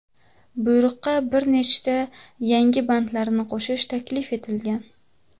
Buyruqqa bir nechta yangi bandlarni qo‘shish taklif etilgan.